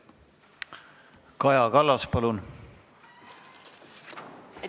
Kaja Kallas, palun!